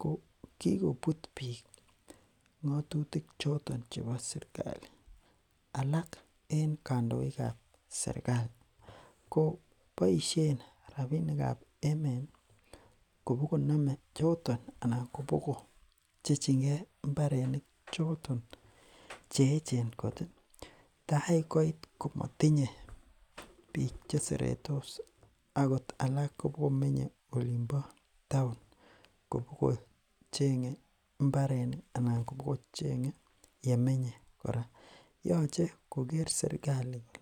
ko kikobut biik ngotutik choton chebo serkali alak en kandoikab serkali koboishen rapinikab emet kobo konome choton ana kobokopchechingee mbarenik choton cheechen kot tai koit komotinye biik cheseretos akot alak kobokomenye olimpo taon kopo chenge mbarenik anan kobochenge ele menye kora yoche koker serkali